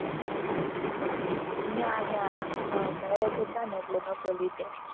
ના ના અમ marriage હતા ને એટલે નહતો લીધો.